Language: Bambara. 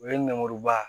U ye nɛmuruba